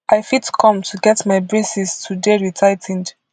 i fit come to get my braces to dey retigh ten ed